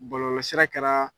Bɔlɔlɔsira kɛra